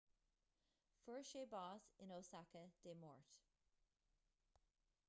fuair sé bás in osaka dé máirt